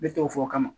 Ne tɔgɔ fɔ o kama